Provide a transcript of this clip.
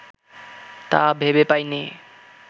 তা ভেবে পাইনে